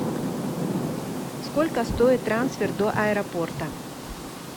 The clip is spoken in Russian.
сколько стоит трансфер до аэропорта